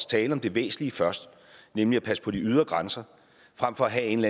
tale om det væsentlige først nemlig at passe på de ydre grænser frem for at have en